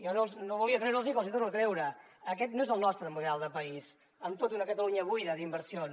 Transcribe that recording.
jo no volia treure’ls hi però els hi torno a treure aquest no és el nostre model de país amb tota una catalunya buida d’inversions